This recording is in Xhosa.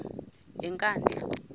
yenkandla